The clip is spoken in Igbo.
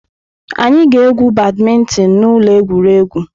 Anyị ga-egwu badmintin na ụlọ egwuregwu.